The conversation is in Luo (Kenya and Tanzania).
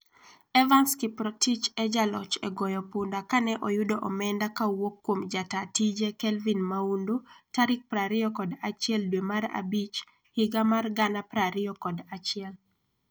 Evanson Kiprotich e jaloch e goyo punda kane oyudo omenda ka owuok kuom jata tije Kelvin Maundu tarik prariyo kod achiel dwe mar abich higa mar gana prariyo kod achiel